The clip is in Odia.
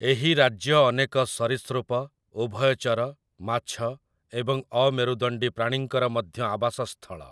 ଏହି ରାଜ୍ୟ ଅନେକ ସରୀସୃପ, ଉଭୟଚର, ମାଛ ଏବଂ ଅମେରୁଦଣ୍ଡୀ ପ୍ରାଣୀଙ୍କର ମଧ୍ୟ ଆବାସସ୍ଥଳ ।